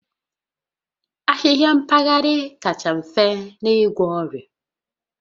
Ahịhịa mpaghara kacha mfe n'igwọ ọrịa